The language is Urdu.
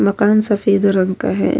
مکان سفید رنگ کا ہے۔